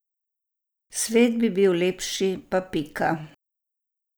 Svet bi bil lepši pa pika.